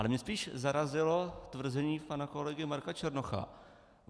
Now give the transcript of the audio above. Ale mě spíš zarazilo tvrzení pana kolegy Marka Černocha.